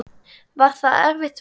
Var það erfitt verk?